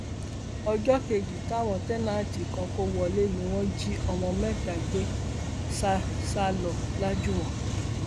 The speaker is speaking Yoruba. ọjọ kejì táwọn táǹtẹǹtì kan kó wọlé ni wọn jí ọmọ mẹta gbé sá sá lọ lajúwọn